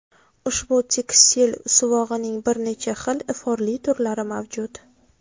Ushbu tekstil suvog‘ining bir necha xil iforli turlari mavjud.